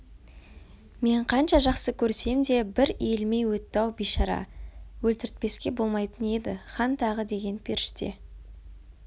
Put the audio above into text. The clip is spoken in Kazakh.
мен қанша жақсы көрсем де бір иілмей өтті-ау бейшара өлтіртпеске болмайтын еді хан тағы деген періште